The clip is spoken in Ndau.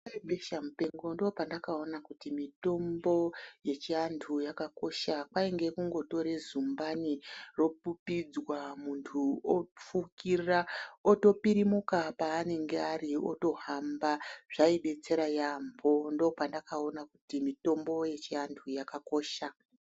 Nguwa yebesha mupengo ndopandakaona kuti mitombo yechiantu yakakosha kwainge kungotore zumbani ropupidzwa muntu ofukira otopirimuka paanenge Ari otohamba zvaidetsera yambo ndopandakaona kuti mitombo yechiantu yakakosha.